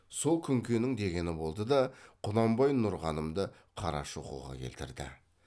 сол күнкенің дегені болды да құнанбай нұрғанымды қарашоқыға келтірді